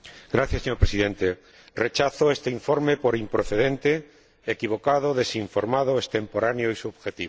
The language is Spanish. Señor Presidente, rechazo este informe por improcedente, equivocado, desinformado, extemporáneo y subjetivo.